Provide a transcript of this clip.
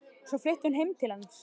Og svo flutti hún heim til hans.